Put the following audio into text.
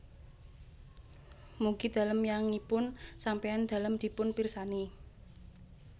Mugi dalem yangipun sampéyan dalem dipun pirsani